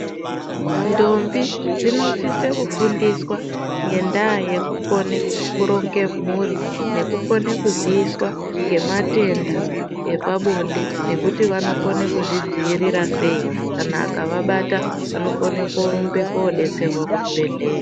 Ndombi dzinosise kufundiswa ngendaa yekukone kuronge mhuri nekukone kuziiswa ngematenda epabonde nekuti vanokone kuzvidziirira sei kana akavabata vanokone kurumbe kodetserwa kuchibhedhlera.